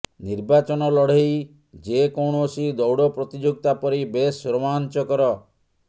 ନିର୍ବାଚନ ଲଢ଼େଇ ଯେକୌଣସି ଦୌଡ଼ ପ୍ରତିଯୋଗିତା ପରି ବେଶ୍ ରୋମାଞ୍ଚକର